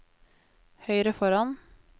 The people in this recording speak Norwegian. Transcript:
høyre foran